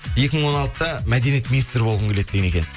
екі мың он алтыда мәдениет министрі болғым келеді деген екенсіз